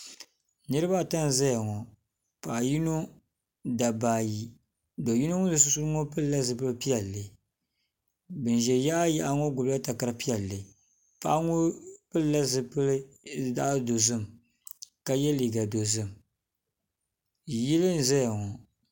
niriba ata n-zaya ŋɔ paɣa yino dabba ayi do' yino ŋun ʒe sunsuuni ŋɔ pili la zupil' piɛlli bɛ ʒi yaɣa yaɣa ŋɔ gbubi la takara piɛlli paɣa ŋɔ pilila zupil' zaɣ' dozim ka ye liiga dozim yili n-ʒeya ŋɔ.